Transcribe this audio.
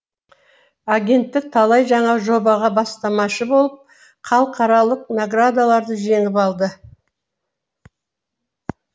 агенттік талай жаңа жобаға бастамашы болып халықаралық наградаларды жеңіп алды